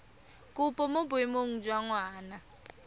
kopo mo boemong jwa ngwana